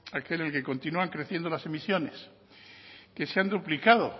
aquel en el que continúan creciendo las emisiones que se han duplicado